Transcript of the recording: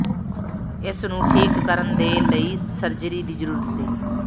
ਇਸ ਨੂੰ ਠੀਕ ਕਰਨ ਦੇ ਲਈ ਸਰਜਰੀ ਦੀ ਜ਼ਰੂਰਤ ਸੀ